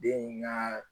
Den in ka